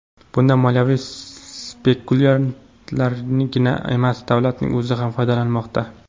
Bundan moliyaviy spekulyantlargina emas, davlatning o‘zi ham foydalanmoqda.